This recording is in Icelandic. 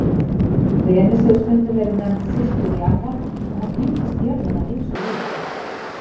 Venus hefur stundum verið nefnd systir jarðar og hún líkist jörðinni að ýmsu leyti.